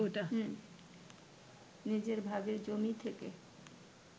নিজের ভাগের জমি থেকে